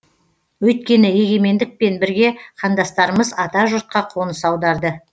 өйткені егемендікпен бірге қандастарымыз ата жұртқа қоныс аударды